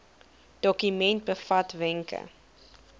dokument bevat wenke